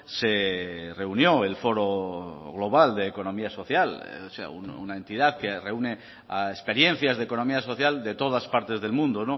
se reunió el foro global de economía social o sea una entidad que reúne a experiencias de economía social de todas partes del mundo